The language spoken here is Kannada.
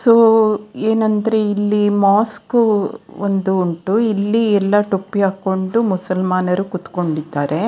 ಸೊ ಏನಂದ್ರೆ ಇಲ್ಲಿ ಮಸ್ಕೊ ಒಂದು ಉಂಟು ಇಲ್ಲಿ ಎಲ್ಲಾ ಟೋಪಿ ಹಾಕೊಂಡು ಮುಸಲ್ಮಾನರು ಕೂತುಕೊಂಡಿದ್ದಾರೆ.